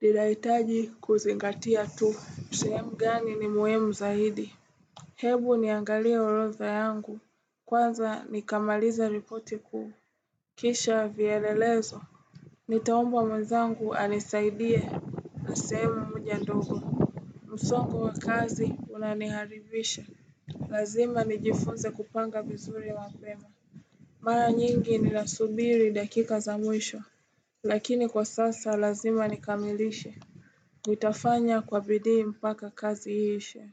Ninahitaji kuzingatia tu sehemu gani ni muhimu zaidi. Hebu niangalie orodha yangu. Kwanza nikamaliza ripoti kuu. Kisha vielelezo. Nitaombwa mwezangu anisaidie. Na sehemu moja ndogo. Musongo wa kazi unaniharivisha. Lazima nijifunze kupanga vizuri mapema Mara nyingi nasubiri dakika za mwisho. Lakini kwa sasa lazima nikamilishe. Nitafanya kwa bidii mpaka kazi iishe.